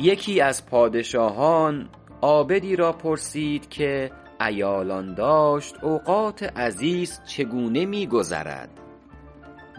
یکی از پادشاهان عابدی را پرسید که عیالان داشت اوقات عزیز چگونه می گذرد